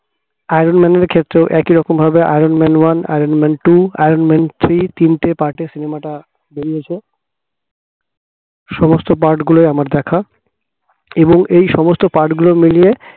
iron man র ক্ষেত্রেও একইরকম ভাবে iron man one, iron man two, iron man three তিনটে part এ cinema টা বেরিয়েছে সমস্ত part গুলোই আমার দেখা এবং এই সমস্ত part গুলো মিলিয়ে